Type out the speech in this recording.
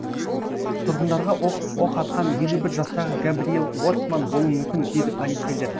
тұрғындарға оқ атқан елу бір жастағы гэбриел уортман болуы мүмкін дейді полицейлер